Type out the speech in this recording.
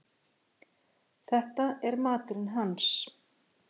Þetta er maturinn hans.